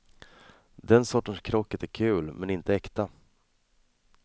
Den sortens krocket är kul, men inte äkta.